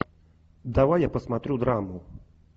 давай я посмотрю драму